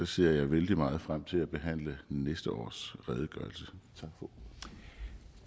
ser jeg vældig meget frem til at behandle næste års redegørelse